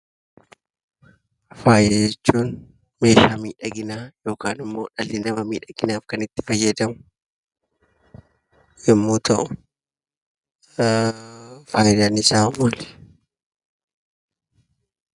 Faaya jechuun meeshaa miidhaginaa yookaan immoo dhalli namaa miidhaginaaf kan itti fayyadamu yemmuu ta'u, fayidaan isaa maali?